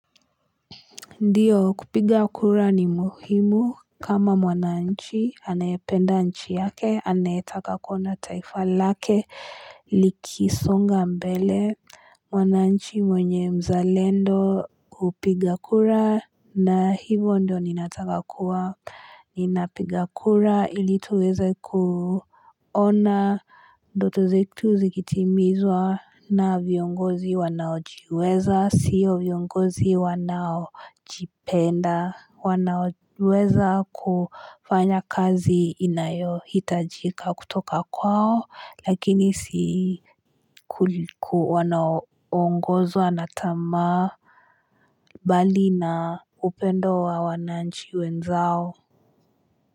Ndiyo kupiga kura ni muhimu kama mwananchi anayependa nchi yake anayetaka kuona taifa lake likisonga mbele mwananchi mwenye mzalendo hupiga kura na hivo ndio ninataka kua ninapiga kura ili tuweze kuona ndoto zetu zikitimizwa na viongozi wanaojiweza sio viongozi wanaojipenda wanaweza kufanya kazi inayo hitajika kutoka kwao lakini si wanaongozwa na tamaa bali na upendo wa wananchi wenzao.